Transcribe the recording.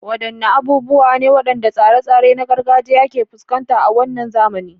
Wadanne abubuwa ne wadannan tsare-tsare na gargajiya ke fuskanta a wannan zamani?